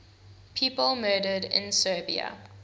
people murdered in serbia